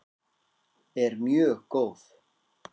er mjög góð.